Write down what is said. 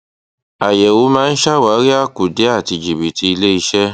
àyẹwò máa ń ṣàwárí àkùdé àti jìbìtì ilé iṣẹ